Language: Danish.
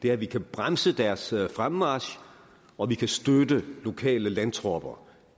er at vi kan bremse deres fremmarch og vi kan støtte lokale landtropper